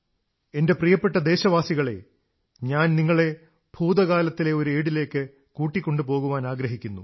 എന്റെ പ്രിയപ്പെട്ട ദേശവാസികളേ ഞാൻ നിങ്ങളെ ഭൂതകാലത്തിലെ ഓരേടിലേക്ക് കൂട്ടിക്കൊണ്ടുപോകാനാഗ്രഹിക്കുന്നു